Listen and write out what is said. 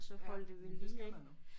Ja men det skal man også